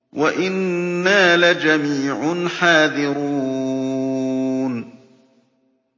وَإِنَّا لَجَمِيعٌ حَاذِرُونَ